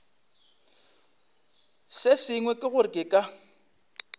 sengwe ke gore ke ka